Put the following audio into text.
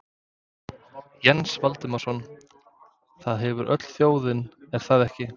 Jens Valdimarsson: Það hefur öll þjóðin, er það ekki?